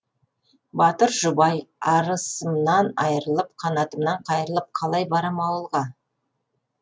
батыр жұбай арысымнан айрылып қанатымнан қайрылып қалай барам ауылға